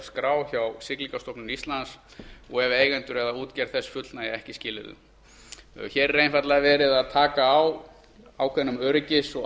skrá hjá siglingastofnun íslands og ef eigendur eða útgerð þess fullnægja ekki skilyrðum annars málsl fimmtu grein hér er einfaldlega verið að taka á ákveðnum öryggis og